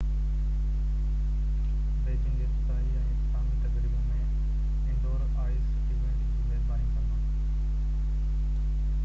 Beijing افتتاحي ۽ اختتامي تقريبون ۽ انڊور آئس ايونٽ جي ميزباني ڪندو